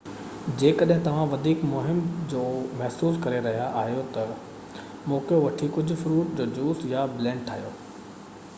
جيڪڏهن توهان وڌيڪ مُهم جُو محسوس ڪري رهيا آهيو ته موقعو وٺي ڪجهه فروٽ جو جوس يا بلينڊ ٺاهيو